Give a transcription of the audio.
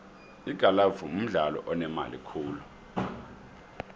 igalfu mdlalo onemali khulu